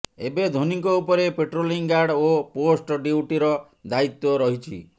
ଏବେ ଧୋନିଙ୍କ ଉପରେ ପେଟ୍ରୋଲିଂ ଗାର୍ଡ ଓ ପୋଷ୍ଟ ଡିୟୁଟିର ଦାୟିତ୍ୱ ରହିଛି